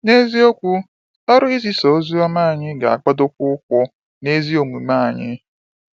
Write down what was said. N’eziokwu, ọrụ izisa ozi anyị ga-agbadokwa ukwu n’ezi omume anyị.